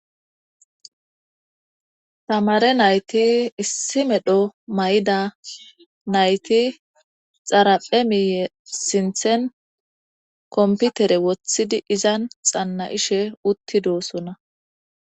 Tamare nayti issi medho may7ida nayti xaraphe miiye sinthen komputere wothidi izan xanna ishe uttidosona.